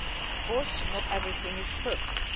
Of course, not everything is perfect.